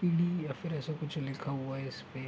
इ या फिर ऐसा कुछ लिखा हुआ है इस पे ।